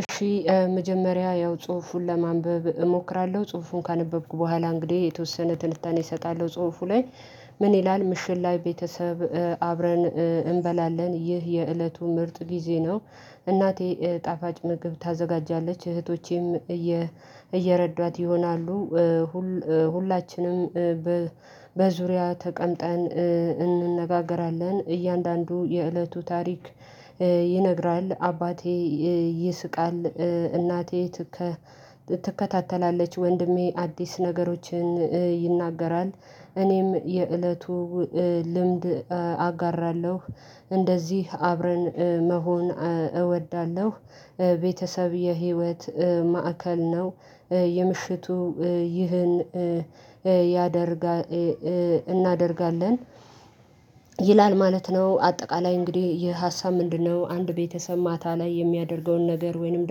እሺ መጀመሪያ ያው ጽሁፉን ለማንበብ እሞክራለሁ ጽሁፉን ካነበብኩ በኋላ እንግዲህ የተወሰነ ትንታኔ እሰጣለሁ ጽሁፉ ላይ። ምን ይላል ምሽት ላይ ቤተሰብ አብረን እንበላለን ይህ የእለቱ ምርጥ ጊዜ ነው? እናቴ ጣፋጭ ምግብ ታዘጋጃለች እህቶቼም እየረዷት ይሆናሉ። ሁላችንም በዙሪያ ተቀምጠን እንነጋገራለን። እያንዳንዱ የእለቱ ታሪክ ይነግራል አባቴ ይስቃል እናቴ ትከ ትከታተላለች። ወንድሜ አዲስ ነገሮችን ይናገራል። እኔም የእለቱ ልምድ አጋራለሁ እንደዚህ አብረን መሆን እወዳለሁ። ቤተሰብ የህይወት ማዕከል ነው። የምሽቱ ይህን ያደርጋል እናደርጋለን ይላል ማለት ነው። አጠቃላይ እንግዲህ የሀሳብ ምንድነው አንድ ቤተሰብ ማታ ላይ የሚያደርገውን ነገር ወይንም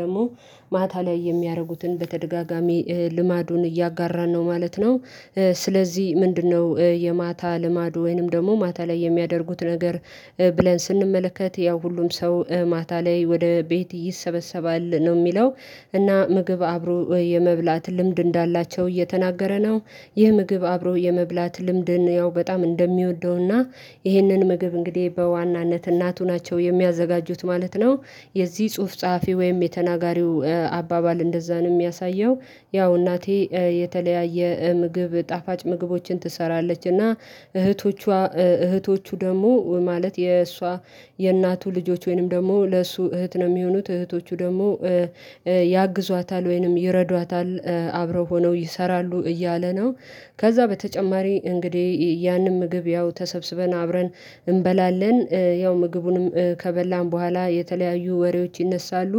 ደግሞ ማታ ላይ የሚያደርጉትን በተደጋጋሚ ልማዱን እያጋራን ነው ማለት ነው። ስለዚህ ምንድነው የማታ ልማድ ወይንም ደግሞ ማታ ላይ የሚያደርጉት ነገር ብለን ስንመለከት ያው ሁሉም ሰው ማታ ላይ ወደ ቤት ይሰበሰባል ነው የሚለው። እና ምግብ አብሮ የመብላት ልምድ እንዳላቸው እየተናገረ ነው። ይህ ምግብ አብሮ የመብላት ልምድን ያው በጣም እንደሚወደውና ይህንን ምግብ እንግዲህ በዋናነት እናቱ ናቸው የሚያዘጋጁት ማለት ነው። የዚህ ጽሁፍ ጸሐፊ ወይም የተናጋሪው አባባል እንደዛ ነው የሚያሳየው። ያው እናቴ የተለያየ ምግብ ጣፋጭ ምግቦችን ትሰራለች እና እህቶቿ እህቶቹ ደግሞ ማለት የእሷ የእናቱ ልጆች ወይንም ደግሞ ለእሱ እህት ነው የሚሆኑት እህቶቹ ደግሞ ያግዟታል ወይንም ይረዷታል አብረው ሆነው ይሰራሉ እያለ ነው። ከዛ በተጨማሪ እንግዲህ ያንን ምግብ ያው ተሰብስበን አብረን እንበላለን ያው ምግቡንም ከበላን በኋላ የተለያዩ ወሬዎች ይነሳሉ።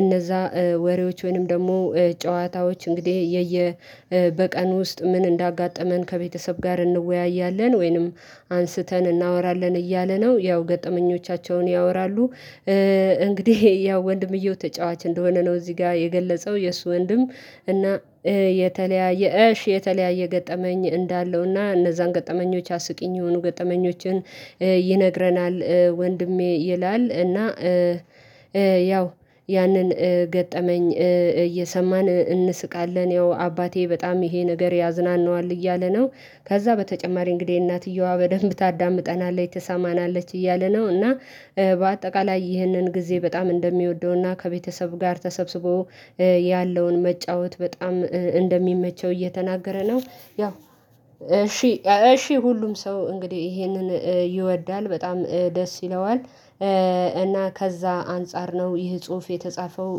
እነዛ ወሬዎች ወይንም ደግሞ ጨዋታዎች እንግዲህ የየ በቀን ውስጥ ምን እንዳጋጠመን ከቤተሰብ ጋር እንወያያለን ወይንም አንስተን እናወራለን እያለ ነው ያው ገጠመኞቻቸውን ያወራሉ። እንግዲህ ያው ወንድምየው ተጫዋች እንደሆነ ነው እዚህ ጋር የገለጸው የእሱ ወንድም እና የተለያየ እሽ የተለያየ ገጠመኝ እንዳለው እና እነዛን ገጠመኞች አስቂኝ የሆኑ ገጠመኞችን ይነግረናል ወንድሜ ይላል እና ያው ያንን ገጠመኝ እየሰማን እንስቃለን ያው አባቴ በጣም ይሄ ነገር ያዝናናዋል እያለ ነው። ከዛ በተጨማሪ እንግዲህ እናትየዋ በደንብ ታዳምጠናለች ትሰማናለች እያለ ነው እና በአጠቃላይ ይህንን ጊዜ በጣም እንደሚወደውና ከቤተሰብ ጋር ተሰብስቦ ያለውን መጫወት በጣም እንደሚመቸው እየተናገረ ነው። ያው እሺ እሺ ሁሉም ሰው እንግዲህ ይሄንን ይወዳል በጣም ደስ ይለዋል። እና ከዛ አንፃር ነው ይህ ጽሁፍ የተጻፈው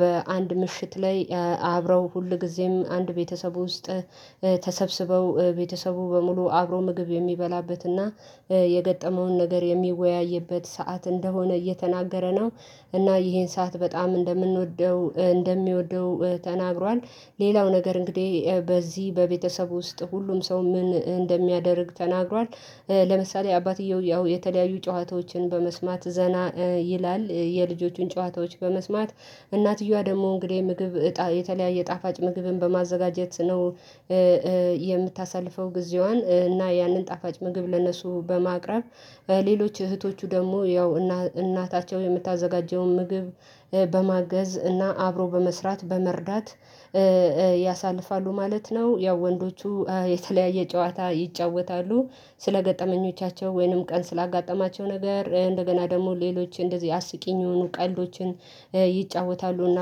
በአንድ ምሽት ላይ አብረው ሁልጊዜም አንድ ቤተሰብ ውስጥ ተሰብስበው ቤተሰቡ በሙሉ አብሮ ምግብ የሚበላበትና የገጠመውን ነገር የሚወያይበት ሰዓት እንደሆነ እየተናገረ ነው። እና ይሄን ሰዓት በጣም እንደምንወደው እንደሚወደው ተናግሯል። ሌላው ነገር እንግዲህ በዚህ በቤተሰቡ ውስጥ ሁሉም ሰው ምን እንደሚያደርግ ተናግሯል። ለምሳሌ አባትየው ያው የተለያዩ ጨዋታዎችን በመስማት ዘና ይላል የልጆቹን ጨዋታዎች በመስማት እናትየዋ ደግሞ እንግዲህ ምግብ የተለያየ ጣፋጭ ምግብን በማዘጋጀት ነው። የምታሳልፈው ጊዜዋን እና ያንን ጣፋጭ ምግብ ለነሱ በማቅረብ ሌሎች እህቶቹ ደግሞ ያው እናታቸው የምታዘጋጀውን ምግብ በማገዝ እና አብሮ በመስራት በመርዳት ያሳልፋሉ ማለት ነው። ያው ወንዶቹ የተለያየ ጨዋታ ይጫወታሉ ስለ ገጠመኞቻቸው ወይንም ቀን ስላጋጠማቸው ነገር እንደገና ደግሞ ሌሎች እንደዚህ አስቂኝ የሆኑ ቀልዶችን ይጫወታሉ እና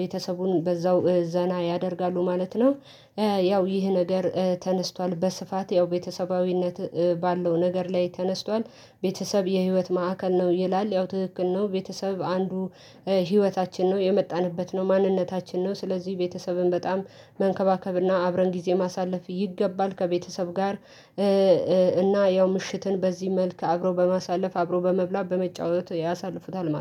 ቤተሰቡን በዛው ዘና ያደርጋሉ ማለት ነው። ያው ይህ ነገር ተነስቷል በስፋት ያው ቤተሰባዊነት ባለው ነገር ላይ ተነስቷል። ቤተሰብ የህይወት ማዕከል ነው ይላል ያው ትክክል ናው ቤተሰብ አንዱ ህይወታችን ነው የመጣንበት ነው ማንነታችን ነው ስለዚህ ቤተሰብን በጣም መንከባከብና አብረን ጊዜ ማሳለፍ ይገባል። ከቤተሰብ ጋር እና ያው ምሽትን በዚህ መልኩ አብሮ በማሳለፍ አብሮ በመብላት በመጫወት ያሳልፉታል ማለት ነው